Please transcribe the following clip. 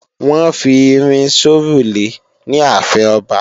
Wọ́n ń fi irin sórùlé ní ààfin ọba